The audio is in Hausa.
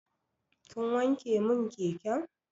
Kin wanke mun keken?